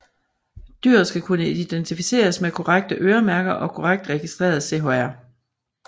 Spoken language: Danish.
Dyret skal kunne identificeres med korrekte øremærker og korrekt registreret i CHR